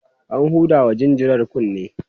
an hudawa jinjirar kunne